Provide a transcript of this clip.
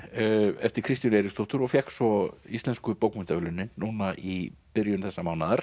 eftir Kristínu Eiríksdóttur og fékk svo Íslensku bókmenntaverðlaunin núna í byrjun þessa mánaðar